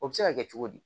O bɛ se ka kɛ cogo di